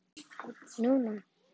Nú nú.